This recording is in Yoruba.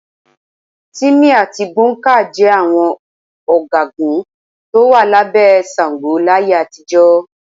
Tìmì àti Gbọ̀ǹkáà jẹ àwọn ọ̀gágun tó wà lábẹ́ Ṣàngó láyé àtijọ́.